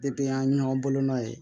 an ye ɲɔgɔn bolonɔ ye